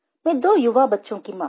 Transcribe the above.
मैं दो युवा बच्चों की माँ हूँ